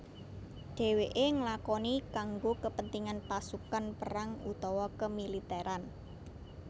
Dewèké nglakoni kanggo kepentingan pasukan perang utawa kemiliteran